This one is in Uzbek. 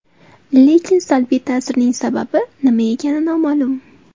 Lekin salbiy ta’sirning sababi nima ekani noma’lum.